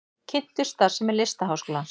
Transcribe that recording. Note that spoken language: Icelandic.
Kynntu starfsemi Listaháskólans